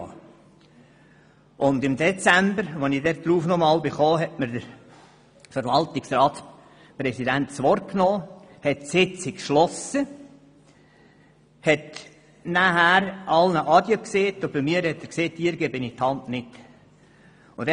Als ich im Dezember noch einmal darauf eingehen wollte, hat mir der Verwaltungsratspräsident das Wort genommen, die Sitzung geschlossen, alle verabschiedet und zu mir gesagt, er würde mir die Hand nicht reichen.